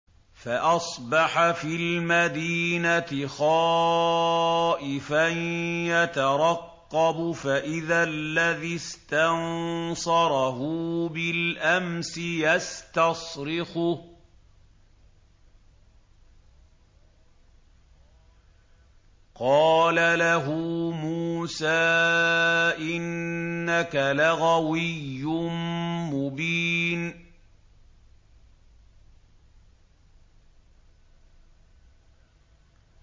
فَأَصْبَحَ فِي الْمَدِينَةِ خَائِفًا يَتَرَقَّبُ فَإِذَا الَّذِي اسْتَنصَرَهُ بِالْأَمْسِ يَسْتَصْرِخُهُ ۚ قَالَ لَهُ مُوسَىٰ إِنَّكَ لَغَوِيٌّ مُّبِينٌ